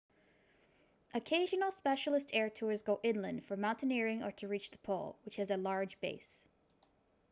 occasional specialist air tours go inland for mountaineering or to reach the pole which has a large base